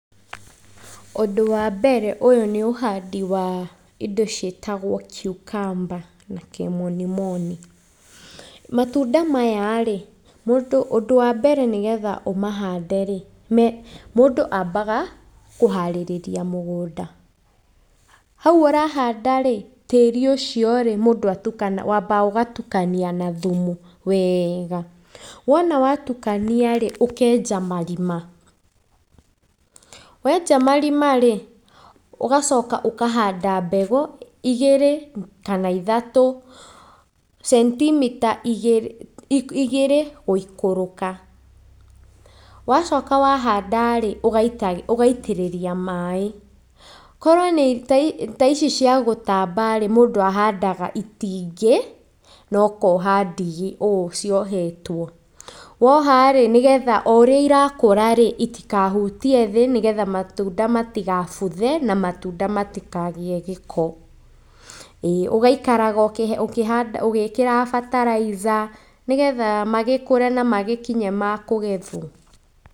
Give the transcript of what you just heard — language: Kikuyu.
Ũndũ wa mbere ũyũ nĩũhandi wa indo ciĩtagwo cucumber na kimonimoni. Matunda mayarĩ, ũndũ wa mbere nĩgetha mũndũ amahanderĩ, mũndũ ambaga kũharĩrĩria mũgũnda. Hau ũrahandarĩ, tĩĩri ũciorĩ, mũndũ atukanagia, wambaga ũgatukania na thumu wega. wona watukaniarĩ ũkenja marima. Wenja marimarĩ, ũgacoka ũkahanda mbegũ igĩrĩ kana ithatũ, centimeter igĩrĩ kana ithatũ gũikũrũka. Wacoka wahandarĩ, ũgaitĩrĩria maĩ . Korwo nĩta nĩtaici ciagũtambarĩ, mũndũ ahandaa itingĩ nokoha ndigi o ũũ ciohetwo nĩgetha oũrĩa irakũrarĩ itikahutie thĩ nĩgetha matunda matigabuthe na matunda matikagĩe gĩko. ũgaikaraga ũgĩkĩraga bataraiza nĩgetha magĩkũre na magĩkinye makũgethwo.